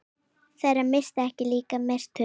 Þeirra missir er líka mestur.